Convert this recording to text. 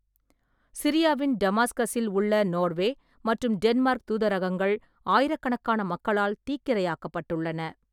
சிரியாவின் டமாஸ்கஸில் உள்ள நோர்வே மற்றும் டென்மார்க் தூதரகங்கள் ஆயிரக்கணக்கான மக்களால் தீக்கிரையாக்கப்பட்டுள்ளன.